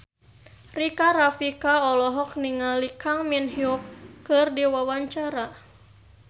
Rika Rafika olohok ningali Kang Min Hyuk keur diwawancara